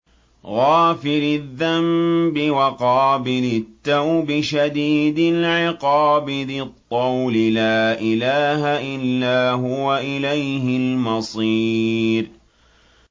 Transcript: غَافِرِ الذَّنبِ وَقَابِلِ التَّوْبِ شَدِيدِ الْعِقَابِ ذِي الطَّوْلِ ۖ لَا إِلَٰهَ إِلَّا هُوَ ۖ إِلَيْهِ الْمَصِيرُ